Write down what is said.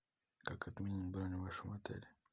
как отменить бронь в вашем отеле